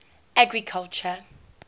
agriculture